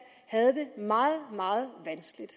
havde det meget meget vanskeligt